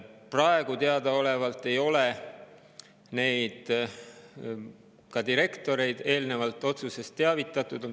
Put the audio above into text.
Praegu teadaolevalt ei ole neid ja ka direktoreid nendest otsustest eelnevalt teavitatud.